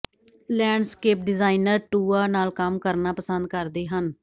landscape designer ਟੂਯਾ ਨਾਲ ਕੰਮ ਕਰਨਾ ਪਸੰਦ ਕਰਦੇ ਹਨ